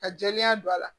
Ka jɛlenya don a la